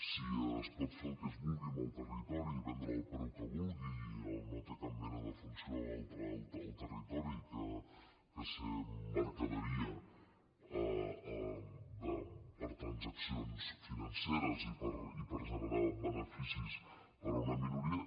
si es pot fer el que es vulgui amb el territori i vendre’l al preu que es vulgui i no té cap mena de funció altra el territori que ser mercaderia per a transaccions financeres i per generar beneficis per a una minoria